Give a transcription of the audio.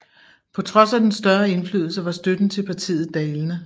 På trods af den større indflydelse var støtten til partiet dalende